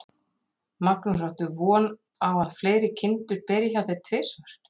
Magnús: Áttu von á að fleiri kindur beri hjá þér tvisvar?